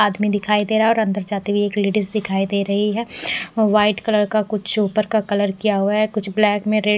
आदमी दिखाई दे रहा है और अंदर जाते हुए एक लेडिज दिखाई दे रही है व्हाइट कलर का कुछ ऊपर का कलर किया हुआ है कुछ ब्लैक में रे --